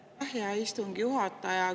Aitäh, hea istungi juhataja!